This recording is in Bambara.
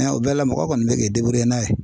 o bɛɛ la mɔgɔ kɔni bɛ k'i n'a ye.